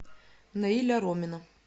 наиля ромина